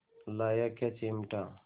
लाया क्या चिमटा